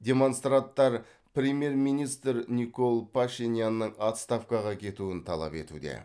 демонстранттар премьер министр никол пашинянның отставкаға кетуін талап етуде